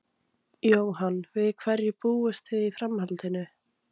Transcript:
Jóhann: Við hverju búist þið í framhaldinu?